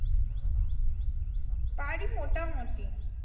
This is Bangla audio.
পারি মোটামুটি।